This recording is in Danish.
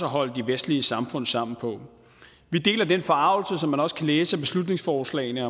holde de vestlige samfund sammen vi deler den forargelse som man også kan læse af beslutningsforslagene